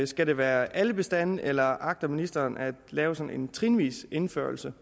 skal det være alle bestandene eller agter ministeren at lave sådan en trinvis indførelse